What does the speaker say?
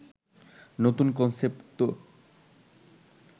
নতুন কনসেপ্ট তো